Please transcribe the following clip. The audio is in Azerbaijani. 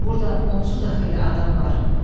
Burda onsuz da xeyli adam var,